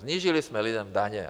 Snížili jsme lidem daně.